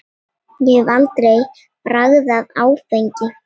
Ég hef aldrei bragðað áfengi.